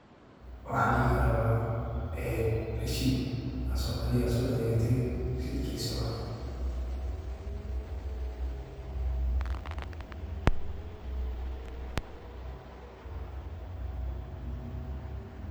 Waxan dihi kara resit oo adhiga ad soadeysate rasit kisa waye.